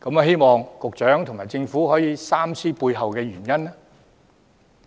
希望局長和政府三思背後的原因。